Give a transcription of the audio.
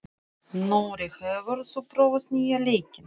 Nóri, hefur þú prófað nýja leikinn?